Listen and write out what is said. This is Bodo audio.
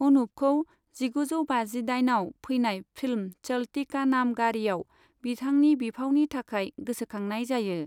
अनुपखौ जिगुजौ बाजिदाइनआव फैनाय फिल्म चलती का नाम गाड़ीआव बिथांनि बिफावनि थाखाय गोसोखांनाय जायो।